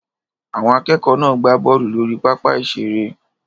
Àwọn akẹ́kọ̀ọ́ náà gbá bọ́ọ̀lù lórí pápá ìṣeré